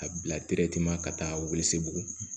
A bila ka taa weele buguni